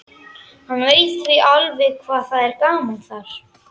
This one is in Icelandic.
Hann veit því alveg hvað það er gaman þar.